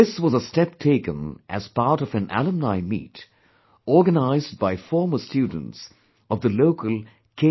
This was a step taken as part of an Alumni Meet organized by former students of the local K